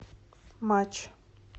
матч